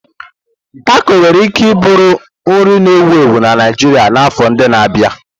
Tako nwere ike bụrụ nri na-ewu ewu na Naijiria n'afọ ndị na-abịa.